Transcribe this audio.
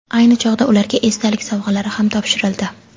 Ayni chog‘da ularga esdalik sovg‘alari ham topshirildi.